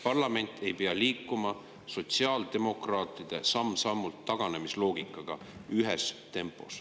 Parlament ei pea liikuma sotsiaaldemokraatide taganemisloogikaga samm-sammult ühes tempos.